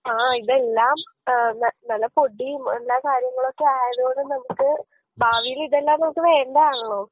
ആ ഇതെല്ലാം ഏ ന നല്ല പൊടീം എല്ലാ കാര്യങ്ങളൊക്കെ ആയതോണ്ട് നമുക്ക് ഭാവീല് ഇതെല്ലാം നമുക്ക് വേണ്ടതാണല്ലൊ